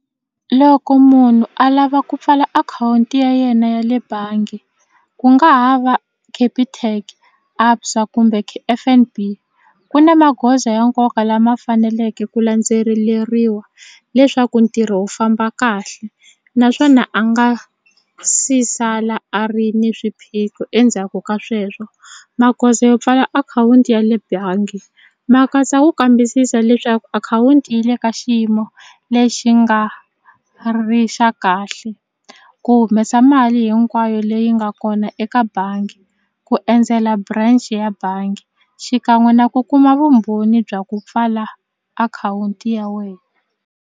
Loko munhu a lava ku pfala akhawunti ya yena ya le bangi ku nga ha va Capitec ABSA kumbe F_N_B ku na magoza ya nkoka lama faneleke ku landzeleriwa leswaku ntirho wu famba kahle naswona a nga si sala a ri ni swiphiqo endzhaku ka sweswo magoza yo pfala akhawunti ya le bangi ma katsa ku kambisisa leswaku akhawunti yi le ka xiyimo lexi nga ri xa kahle ku humesa mali hinkwayo leyi nga kona eka bangi ku endzela branch ya bangi xikan'we na ku kuma vumbhoni bya ku pfala akhawunti ya wena.